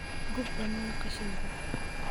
Gub dhammaan qashinka.